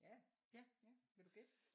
Ja ja vil du gætte?